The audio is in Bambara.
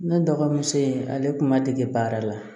Ne dɔgɔmuso in ale tun ma dege baara la